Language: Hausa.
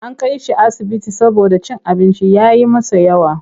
An kai shi asibiti saboda cin abinci ya yi masa yawa.